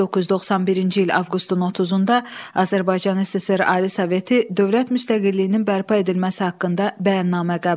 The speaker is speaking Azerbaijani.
1991-ci il avqustun 30-da Azərbaycan SSR Ali Soveti dövlət müstəqilliyinin bərpa edilməsi haqqında bəyannamə qəbul etdi.